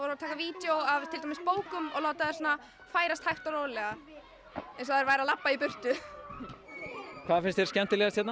að taka vídeó af til dæmis bókum og láta þær færast hægt og rólega eins og þær væru að labba í burtu hvað finnst þér skemmtilegast hérna